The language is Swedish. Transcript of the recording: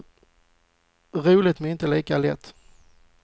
Roligt, men inte lika lätt.